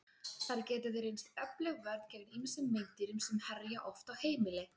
Þær geta því reynst öflug vörn gegn ýmsum meindýrum sem herja oft á heimili.